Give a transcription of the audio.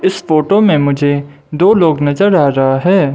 इस फोटो मे मुझे दो लोग नज़र आ रहा है।